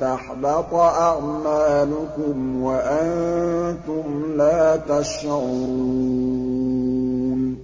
تَحْبَطَ أَعْمَالُكُمْ وَأَنتُمْ لَا تَشْعُرُونَ